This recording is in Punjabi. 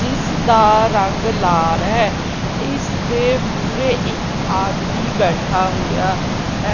ਜਿਸ ਦਾ ਰੰਗ ਲਾਲ ਹੈ ਇਸ ਦੇ ਮੂਰੇ ਇੱਕ ਆਦਮੀ ਬੈਠਾ ਹੋਇਆ ਹੈ।